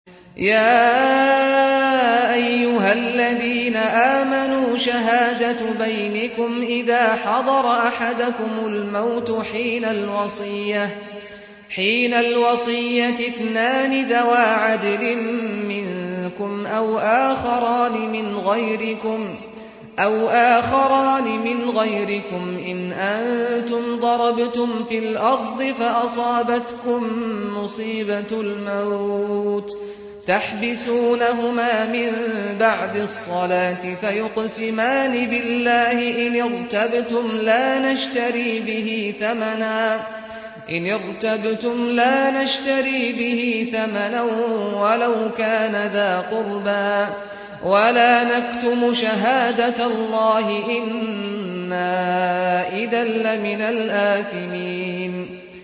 يَا أَيُّهَا الَّذِينَ آمَنُوا شَهَادَةُ بَيْنِكُمْ إِذَا حَضَرَ أَحَدَكُمُ الْمَوْتُ حِينَ الْوَصِيَّةِ اثْنَانِ ذَوَا عَدْلٍ مِّنكُمْ أَوْ آخَرَانِ مِنْ غَيْرِكُمْ إِنْ أَنتُمْ ضَرَبْتُمْ فِي الْأَرْضِ فَأَصَابَتْكُم مُّصِيبَةُ الْمَوْتِ ۚ تَحْبِسُونَهُمَا مِن بَعْدِ الصَّلَاةِ فَيُقْسِمَانِ بِاللَّهِ إِنِ ارْتَبْتُمْ لَا نَشْتَرِي بِهِ ثَمَنًا وَلَوْ كَانَ ذَا قُرْبَىٰ ۙ وَلَا نَكْتُمُ شَهَادَةَ اللَّهِ إِنَّا إِذًا لَّمِنَ الْآثِمِينَ